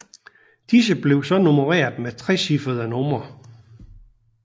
Disse blev så nummereret med trecifrede numre